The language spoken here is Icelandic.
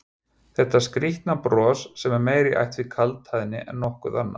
Þetta skrýtna bros sem er meira í ætt við kaldhæðni en nokkuð annað?